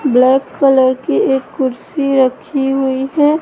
Black colour की एक कुर्सी रखी हुई है।